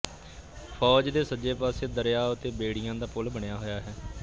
ਫ਼ੌਜ ਦੇ ਸੱਜੇ ਪਾਸੇ ਦਰਿਆ ਉੱਤੇ ਬੇੜੀਆਂ ਦਾ ਪੁਲ ਬਣਿਆ ਹੋਇਆ ਸੀ